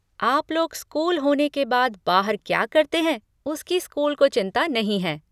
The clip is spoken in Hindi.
आप लोग स्कूल होने के बाद बाहर क्या करते हैं उसकी स्कूल को चिंता नहीं है।